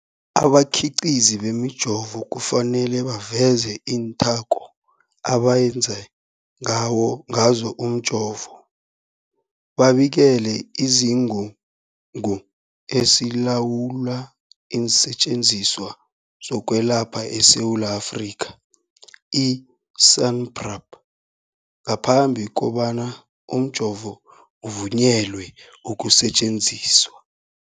Abakhiqizi bemijovo kufanele baveze iinthako abenze ngazo umjovo, babikele isiGungu esiLawula iinSetjenziswa zokweLapha eSewula Afrika, i-SAHPRA, ngaphambi kobana umjovo uvunyelwe ukusetjenziswa.